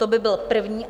To by byl první.